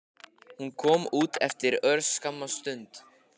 Hún kom út eftir örskamma stund.